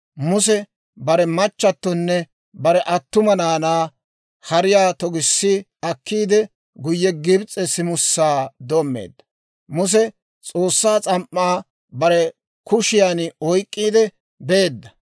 Muse bare machatonne bare attuma naanaa hariyaa togissi akkiide, guyye Gibs'e simusaa doommeedda; Muse S'oossaa s'am"aa bare kushiyaan oyk'k'iide beedda.